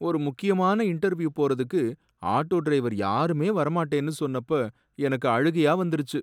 ஒரு முக்கியமான இண்டெர்வியூ போறதுக்கு ஆட்டோ டிரைவர் யாருமே வர மாட்டேன்னு சொன்னப்ப எனக்கு அழுகையா வந்துருச்சு.